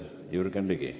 Jürgen Ligi.